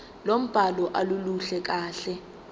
lombhalo aluluhle kahle